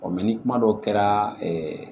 ni kuma dɔ kɛra